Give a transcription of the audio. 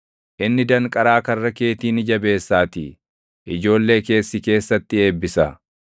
Inni danqaraa karra keetii ni jabeessaatii; ijoollee kees si keessatti eebbisa.